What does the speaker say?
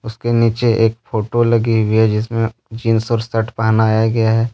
उसके नीचे एक फोटो लगी हुई है जिसमे जींस और शर्ट पहनाया गया है।